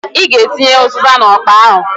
I g'atinye ụzịza n'ọkpa ahụǃ